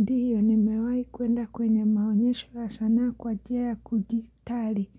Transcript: Ndio ni mewai kuenda kwenye maonyesho ya sanaa kwa jia ya kujistari